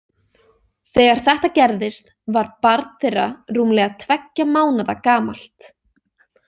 Þegar þetta gerðist var barn þeirra rúmlega tveggja mánaða gamalt.